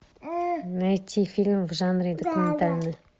найти фильм в жанре документальный